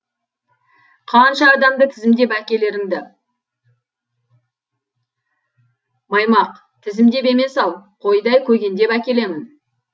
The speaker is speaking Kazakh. қанша адамды тізімдеп әкелеріңді маймақ тізімдеп емес ау қойдай көгендеп әкелемін